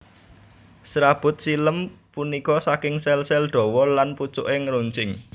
Serabut xilem punika saking sel sel dhawa lan pucuke ngeruncing